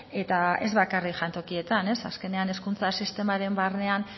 eta ez bakarrik jantokietan azkenean hezkuntza sistemaren barnean